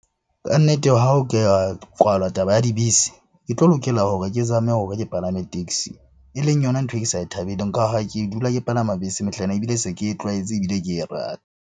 Ka nnete ha o ke kwalwa taba ya dibese, ke tlo lokela hore ke zame hore ke palame taxi. E leng yona ntho e ke sa e thabeleng ka ha ke dula ke palama bese mehlaena, ebile se ke e tlwaetse ebile ke e rata.